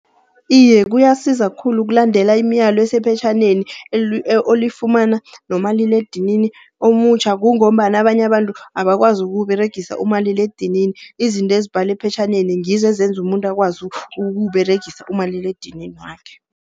Iye kuyasiza khulu, ukulandela imilayo esephetjhaneni olifumana nomaliledini omutjha. Kungombana abanye abantu abakwazi ukuwUberegisa umaliledinini. Izinto ezibhalwe ephetjhaneni ngizo ezenza umuntu akwazi ukuwUberegisa umaliledinini wakhe.